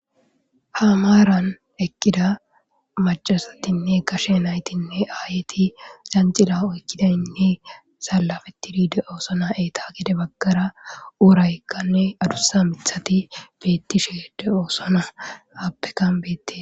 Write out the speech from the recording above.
hamaran ekkida macasatinne kashe naytinne aayeti zancila oykkidaynne salafetidide oosona eeta gede baggara uuraykkanne adussa mithati beettisheede oosona aappekan beette